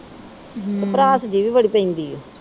ਹੂੰ। ਭੜਾਸ ਜੀ ਵੀ ਬੜੀ ਪੈਂਦੀ ਆ।